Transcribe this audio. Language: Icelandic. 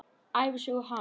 Ævisögu hans.